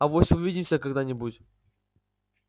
авось увидимся когда-нибудь